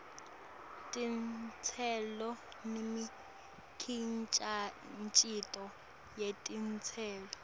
titselo nemikhicito yetitselo